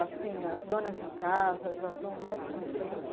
Assim, as donas de casa já estão mais conscientes?